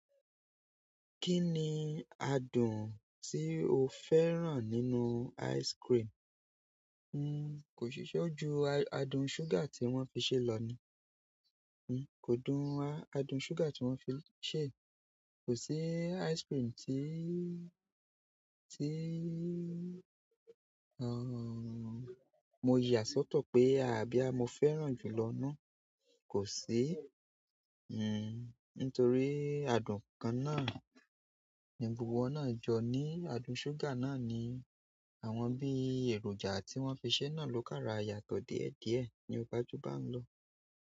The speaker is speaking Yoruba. Kí ni adùn tí o fẹ́ràn nínú ice cream? N kò ṣiṣẹ́ ju adùn sugar tí wọ́n fi ṣe lọ ní. N kò dùn adùn sugar tí wọ́n fi ṣe. Kò sí ice cream tí, tí, mo yà sọ́tọ̀ pé àbí boya mo fẹ́ràn jù lọ náà. Kò sí. Nítorí adùn kan náà, ní gbogbo wọ̀n náà jọ ní adùn sugar náà ni àwọn bí èròjà tí wọ́n fi ṣe náà ló kára yàtọ̀ díẹ̀díẹ̀ ní ó ba ju bá ń lọ.